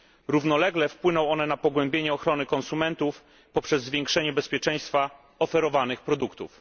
Równolegle wpłyną one na pogłębienie ochrony konsumentów poprzez zwiększenie bezpieczeństwa oferowanych produktów.